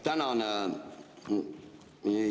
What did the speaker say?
Tänan!